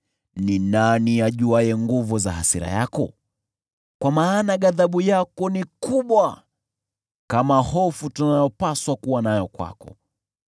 Ni nani ajuaye nguvu za hasira yako? Kwa maana ghadhabu yako ni kubwa kama hofu tunayopaswa kuwa nayo kwako.